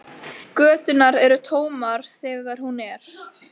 Göturnar eru tómar þegar hún er.